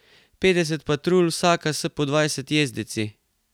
Petdeset patrulj, vsaka s po dvajset jezdeci.